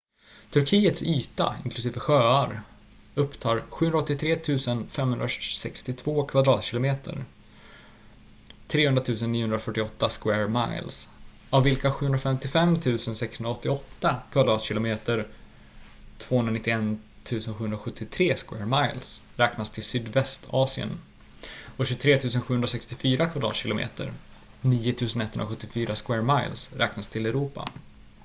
turkiets yta inklusive sjöar upptar 783,562 kvadratkilometer 300,948 sq mi av vilka 755,688 kvadratkilometer 291,773 sq mi räknas till sydvästasien och 23,764 kvadratkilometer 9,174 sq mi räknas till europa